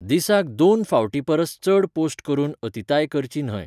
दिसाक दोन फावटीं परस चड पोस्ट करून अतिताय करची न्हय.